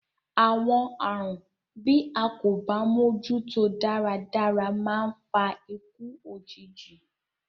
Àwọn àrùn, bí a kò bá mójúto dáradára, máa ń fa ikú òjijì.